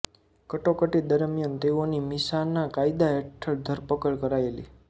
કટોકટી દરમીયાન તેઓની મીસાના કાયદા હેઠળ ધરપકડ કરાયેલી